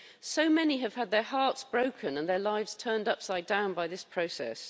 So many have had their hearts broken and their lives turned upside down by this process.